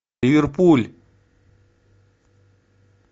ливерпуль